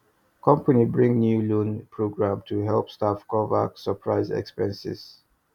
company bring new loan program to help staff cover surprise expenses